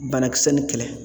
Banakisɛ nin kɛlɛ